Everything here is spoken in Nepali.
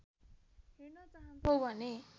हेर्न चाहन्छौ भने